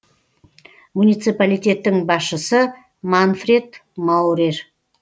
муниципалитеттің басшысы манфред маурер